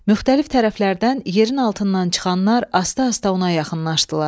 Müxtəlif tərəflərdən yerin altından çıxanlar asta-asta ona yaxınlaşdılar.